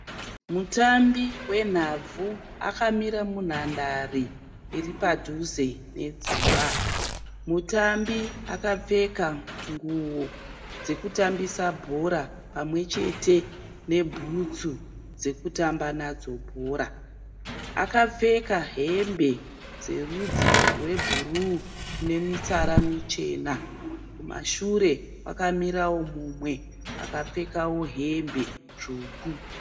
Mutambi wenhabvu akamira munhandare iri padhuze nedzimba. Mutambi akapfeka nguo dzokutambisa bhora pamwe chete nebhutsu dzekutamba nadzo bhora. Akapfeka hembe dzerudzi rwebhuruu nemitsara michena. Kumashure kwakamirawo mumwe akapfeka hembe tsvuku.